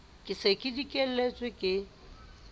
ke se ke dikelletse le